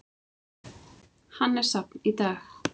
Hann er safn í dag.